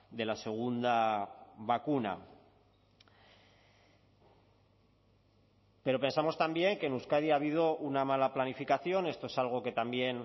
de la segunda vacuna pero pensamos también que en euskadi ha habido una mala planificación esto es algo que también